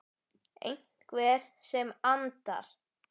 Einhver sem andar.